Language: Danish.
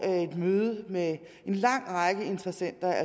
et møde med en lang række interessenter